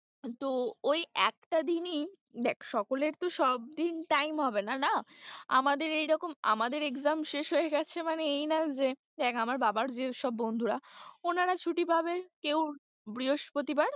তো ওই একটা দিনই, দেখ সকলের তো সব দিন time হবে না না আমাদের এইরকম আমাদের exam শেষ হয়ে গেছে মানে এই না যে দেখ আমার বাবার যে সব বন্ধুরা ওনারা ছুটি পাবে কেউ বৃহস্পতি বার।